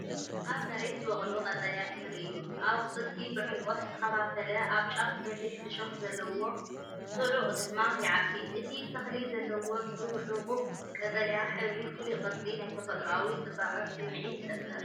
ኣብ መሬት ዝበቁል ቀጠልያ ተኽሊ እዩ። ኣቝጽልቱ ብዕምቈት ዝተኸፋፈለ፡ ኣብ ጫፉ በሊሕ እሾኽ ዘለዎ፡ ጽዑቕ ድማ ይዓቢ። እቲ ተኽሊ ዘለዎ ጽዑቕ ቀጠልያ ሕብርን ፍሉይ ቅርጽን ናይ ተፈጥሮኣዊ ጽባቐ ስምዒት ይፈጥር።